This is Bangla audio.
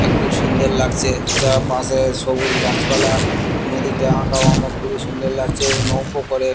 আ খুব সুন্দর লাগছে চারপাশে সবুজ গাছপালা নদীটা আঁকাবাঁকা খুবই সুন্দর লাগছে নৌকো করে।